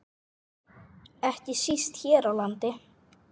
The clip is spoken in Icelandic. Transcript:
Ekki síst hér á landi.